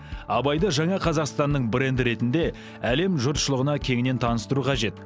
абайды жаңа қазақстанның бренді ретінде әлем жұртшылығына кеңінен таныстыру қажет